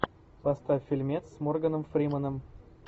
поставь фильмец с морганом фрименом